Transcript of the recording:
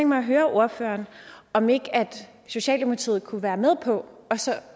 mig at høre ordføreren om ikke socialdemokratiet kunne være med på også